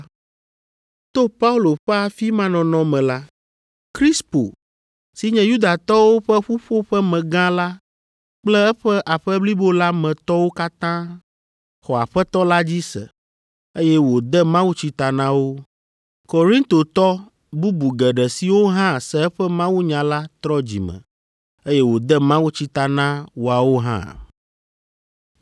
To Paulo ƒe afi ma nɔnɔ me la, Krispo si nye Yudatɔwo ƒe ƒuƒoƒemegã la kple eƒe aƒe blibo la me tɔwo katã xɔ Aƒetɔ la dzi se, eye wòde mawutsi ta na wo. Korintotɔ bubu geɖe siwo hã se eƒe mawunya la trɔ dzi me, eye wòde mawutsi ta na woawo hã.